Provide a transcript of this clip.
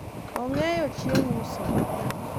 ong'eyo chieng' uso